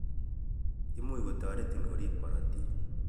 Imuch kotaritin korib korortik